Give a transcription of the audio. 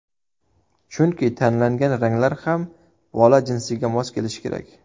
Chunki tanlangan ranglar ham bola jinsiga mos kelishi kerak.